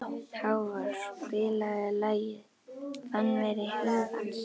Hávarr, spilaðu lagið „Fannfergi hugans“.